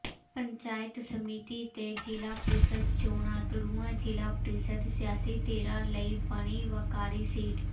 ਪੰਚਾਇਤ ਸਮਿਤੀ ਤੇ ਜ਼ਿਲ੍ਹਾ ਪ੍ਰੀਸ਼ਦ ਚੋਣਾਂ ਦੜੂਆ ਜ਼ਿਲ੍ਹਾ ਪ੍ਰੀਸ਼ਦ ਸਿਆਸੀ ਧਿਰਾਂ ਲਈ ਬਣੀ ਵਕਾਰੀ ਸੀਟ